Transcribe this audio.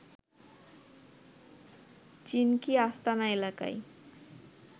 চিনকি আস্তানা এলাকায়